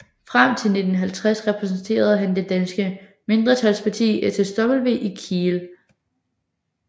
Frem til 1950 repræsenterede han det danske mindretals parti SSW i Kiel